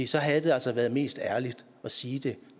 så havde det altså været mest ærligt at sige det